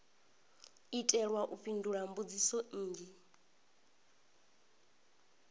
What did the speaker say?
itelwa u fhindula mbudziso nnzhi